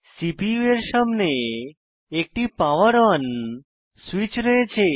CPU এর সামনে একটি পাওয়ার ওন সুইচ রয়েছে